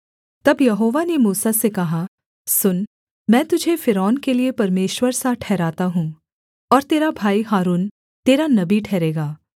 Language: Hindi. तब यहोवा ने मूसा से कहा सुन मैं तुझे फ़िरौन के लिये परमेश्वर सा ठहराता हूँ और तेरा भाई हारून तेरा नबी ठहरेगा